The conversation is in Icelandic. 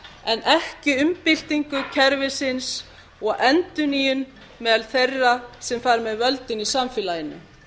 en ekki umbyltingu kerfisins og endurnýjun meðal þeirra sem fara með völdin í samfélaginu